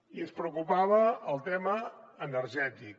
i ens preocupava el tema energètic